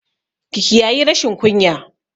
Ki kiyayi rashin kunya!